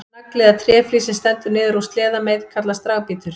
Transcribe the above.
Nagli eða tréflís sem stendur niður úr sleðameið kallast dragbítur.